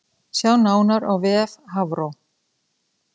Sjá nánar á vef Hafró